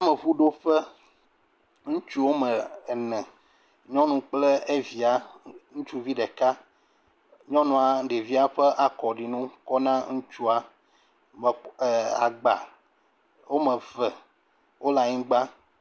Yameŋuɖoƒe, ŋutsu woame ene, nyɔnu kple via, ŋutsuvi ɖeka, nyɔnua ɖevia ƒa akɔɖinu kɔm na ŋutsu ee agba wome eve wole anyigba.